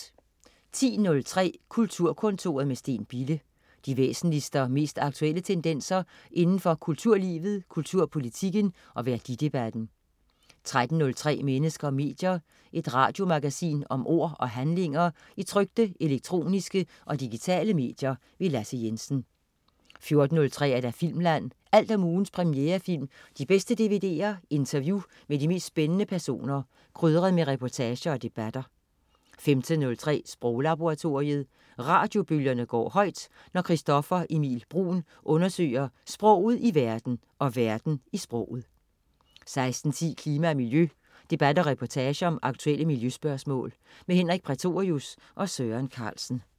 10.03 Kulturkontoret med Steen Bille. De væsentligste og mest aktuelle tendenser inden for kulturlivet, kulturpolitikken og værdidebatten 13.03 Mennesker og medier. Et radiomagasin om ord og handlinger i trykte, elektroniske og digitale medier. Lasse Jensen 14.03 Filmland. Alt om ugens premierefilm, de bedste dvd'er, interview med de mest spændende personer, krydret med reportager og debatter 15.03 Sproglaboratoriet. Radiobølgerne går højt, når Christoffer Emil Bruun undersøger sproget i verden og verden i sproget 16.10 Klima og miljø. Debat og reportage om aktuelle miljøspørgsmål. Henrik Prætorius og Søren Carlsen